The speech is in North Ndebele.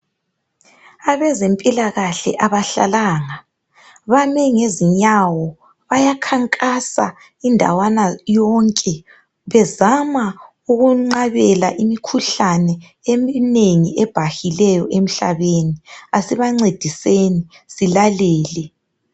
Abezempilakahle abahlalanga, bame ngezinyawo bayakhankasa indawana yonke bezama ukwenqabela imikhuhlane eminengi ebhahileyo emhlabeni asibancediseni silalele.